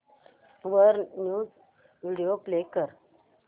वर news video play कर